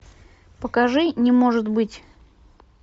покажи не может быть